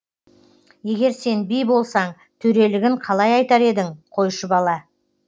егер сен би болсаң төрелігін қалай айтар едің қойшы бала